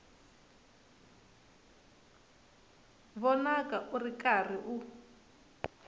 vonaka u ri karhi u